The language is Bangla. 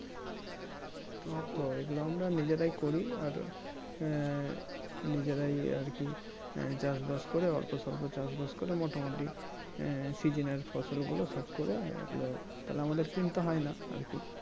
তো ওই গুলো আমরা নিজেরাই করি আর আহ নিজেরাই আরকি চাষবাস করে অল্পসল্প চাষবাস করে মোটামুটি আহ Season এর ফসল গুলো সব করে এলো তাহলে আমাদের কিনতে হয় না আরকি